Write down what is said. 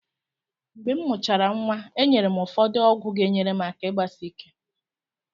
Mgbe m mụchara nwa, enyere m ụfọdụ ọgwụ ga-enyere aka igbasike.